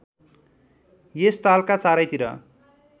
यस तालका चारैतिर